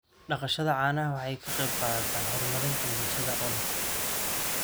Dhaqashada caanaha waxay ka qayb qaadataa horumarinta bulshada oo dhan.